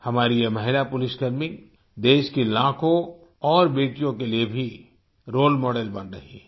हमारी ये महिला पुलिसकर्मी देश की लाखों और बेटियों के लिए भी रोले मॉडेल बन रही हैं